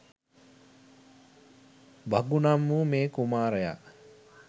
භගු නම් වූ මේ කුමාරයා